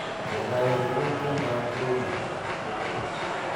Kaikai ureren tiendowb bongo